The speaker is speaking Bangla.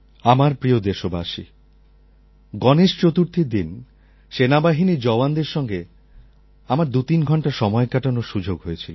আমার প্রিয় দেশবাসী গণেশ চতুর্থীর দিন সেনাবাহিনীর জওয়ানদের সঙ্গে আমার দুতিন ঘণ্টা সময় কাটানোর সুযোগ হয়েছিল